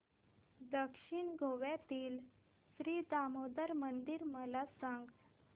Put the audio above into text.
दक्षिण गोव्यातील श्री दामोदर मंदिर मला सांग